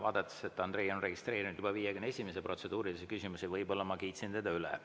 Aga ma näen, et Andrei on registreerinud juba 51. protseduurilise küsimuse, nii et võib-olla ma kiitsin teda üle.